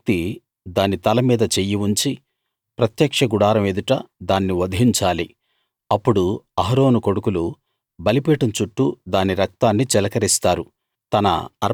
ఆ వ్యక్తి దాని తల మీద చెయ్యి ఉంచి ప్రత్యక్ష గుడారం ఎదుట దాన్ని వధించాలి అప్పుడు అహరోను కొడుకులు బలిపీఠం చుట్టూ దాని రక్తాన్ని చిలకరిస్తారు